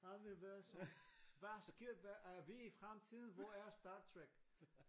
Han vil være sådan hvad sker hvad er vi i fremtiden hvor er Star Trek?